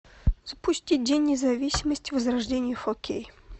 запусти день независимости возрождение фо кей